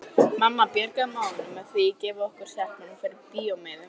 Mamma bjargaði málinu með því að gefa okkur stelpunum fyrir bíómiðum.